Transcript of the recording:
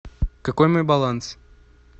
какой мой баланс